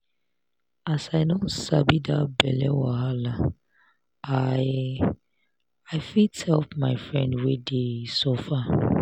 as i don sabi that belle wahala i i fit help my friend wey dey suffer.